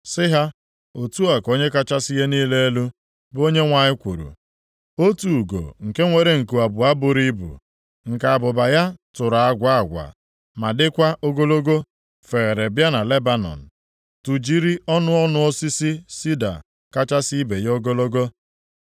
Sị ha, ‘Otu a ka Onye kachasị ihe niile elu, bụ Onyenwe anyị kwuru, otu ugo nke nwere nku abụọ buru ibu, nke abụba ya tụrụ agwa agwa ma dịkwa ogologo, feere bịa na Lebanọn, tụjiri ọnụ ọnụ osisi sida kachasị ibe ya ogologo.